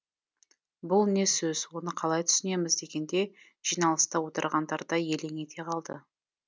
бұл не сөз оны қалай түсінеміз дегенде жиналыста отырғандар да елең ете қалды